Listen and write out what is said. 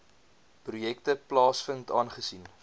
projekte plaasvind aangesien